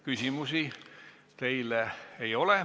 Küsimusi teile ei ole.